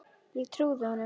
Ég trúði honum.